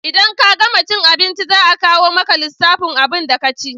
In ka gama cin abinci za a kawo maka lissafin abunda ka ci